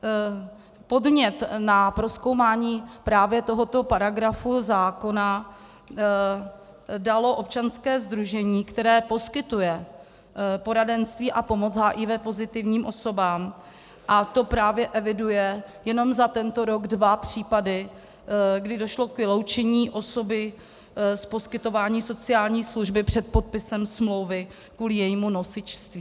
Podnět na prozkoumání právě tohoto paragrafu zákona dalo občanské sdružení, které poskytuje poradenství a pomoc HIV pozitivním osobám, a to právě eviduje jenom za tento rok dva případy, kdy došlo k vyloučení osoby z poskytování sociální služby před podpisem smlouvy kvůli jejímu nosičství.